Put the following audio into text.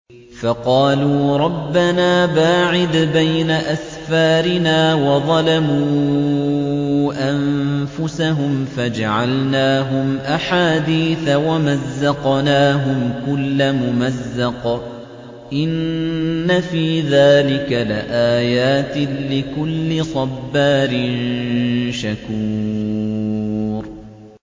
فَقَالُوا رَبَّنَا بَاعِدْ بَيْنَ أَسْفَارِنَا وَظَلَمُوا أَنفُسَهُمْ فَجَعَلْنَاهُمْ أَحَادِيثَ وَمَزَّقْنَاهُمْ كُلَّ مُمَزَّقٍ ۚ إِنَّ فِي ذَٰلِكَ لَآيَاتٍ لِّكُلِّ صَبَّارٍ شَكُورٍ